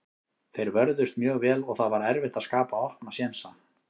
Þeir vörðust mjög vel og það var erfitt að skapa opna sénsa.